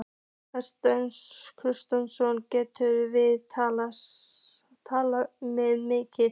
Hafsteinn Hauksson: Gætum við verið að tala um milljarða?